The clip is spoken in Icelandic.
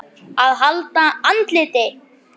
AÐ HALDA ANDLITI